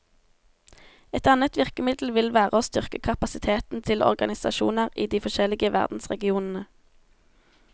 Et annet virkemiddel vil være å styrke kapasiteten til organisasjoner i de forskjellige verdensregionene.